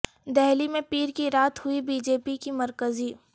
دہلی میں پیر کی رات ہوئی بی جے پی کی مرکزی